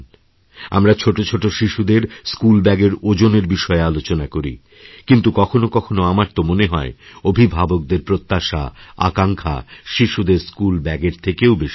আমরা ছোটো ছোটো শিশুদের স্কুল ব্যাগএর ওজনেরবিষয়ে আলোচনা করি কিন্তু কখনো কখনো আমার তো মনে হয় অভিভাবকদের প্রত্যাশাআকাঙ্ক্ষা শিশুদের স্কুল ব্যাগএর থেকেও বেশি ভারী